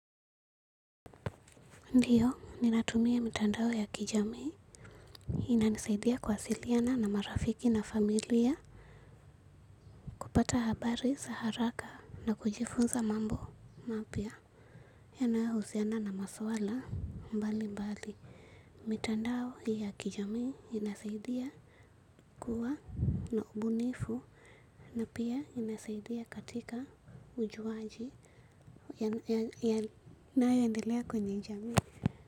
Ndiyo, ninatumia mitandao ya kijamii. Inanisaidia kuwasiliana na marafiki na familia, kupata habari za haraka na kujifunza mambo mapya. Yanayohusiana na maswala mbalimbali. Mitandao ya kijami inasaidia kuwa na ubunifu na pia inasaidia katika ujuwaji yanayoendelea kwenye jamii.